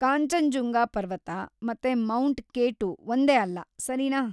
ಕಾಂಚನಜುಂಗ ಪರ್ವತ ಮತ್ತೆ mount K two ಒಂದೇ ಅಲ್ಲ, ಸರಿನಾ?